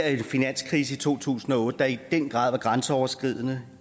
en finanskrise i to tusind og otte der i den grad var grænseoverskridende